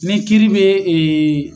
Ni kiri bɛ .